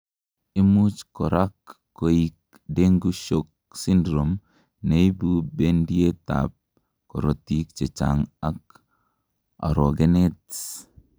imuch korak koik dengue shock syndrome, neibu bendiet ab korotik chechang ak orogenet